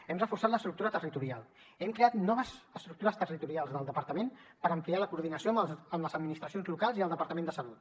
hem reforçat l’estructura territorial hem creat noves estructures territorials del departament per ampliar la coordinació amb les administracions locals i el departament de salut